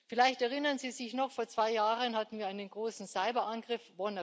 Vielleicht erinnern Sie sich noch Vor zwei Jahren hatten wir WannaCry einen großen Cyberangriff.